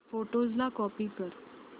photos ला copy कर